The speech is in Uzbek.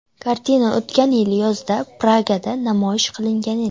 Kartina o‘tgan yili yozda Pragada namoyish qilingan edi.